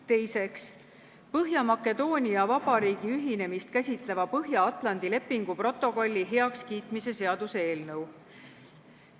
Teiseks, Põhja-Makedoonia Vabariigi ühinemist käsitleva Põhja-Atlandi lepingu protokolli heakskiitmise seaduse eelnõu.